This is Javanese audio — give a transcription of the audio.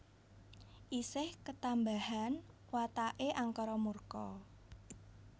Isih ketambahan watake angkara murka